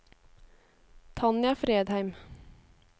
Tanja Fredheim